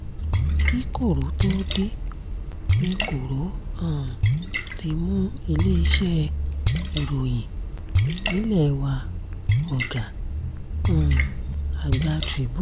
kí koro tóo dé ní koro um ti mú iléeṣẹ́ ìròyìn nílẹ̀ wá ọ̀gá um àgbà tribune